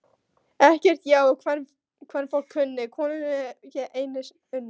Ekkert ég á kvenfólk kunni, konunni ég einni unni.